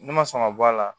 Ne ma sɔn ka bɔ a la